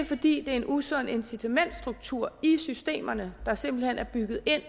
fordi der er en usund incitamentsstruktur i systemerne der simpelt hen er bygget ind